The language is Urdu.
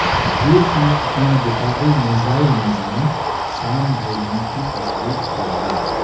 روس نے اپنا دفاعی میزائل نظام شام بھیجنے کی تصدیق کر دی